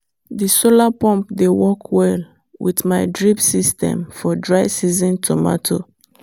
the solar pump dey work well with my drip system for dry-season tomato.